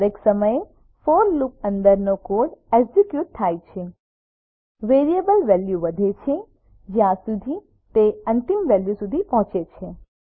દરેક સમયે for loop અંદરનો કોડ એકઝીક્યુટ થાય છે વેરિયેબલ વેલ્યુ વધે છે જ્યાં સુધી તે અંતિમ વેલ્યુ સુધી પહોંચે છે